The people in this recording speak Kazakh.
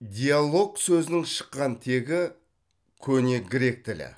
диалог сөзінің шыққан тегі көне грек тілі